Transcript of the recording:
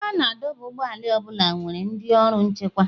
Ebe a na-adọba ụgbọala ọ bụla nwere ndị ọrụ nchekwa.